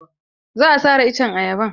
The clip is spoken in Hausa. Za a sare iccen ayaban.